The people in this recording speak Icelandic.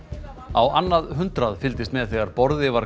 á annað hundrað fylgdist með þegar borði var